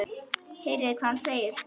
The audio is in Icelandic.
Heyrið hvað hann segir.